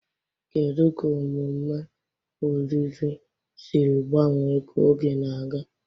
Kedu ka omume olili siri gbanwee ka oge na-aga?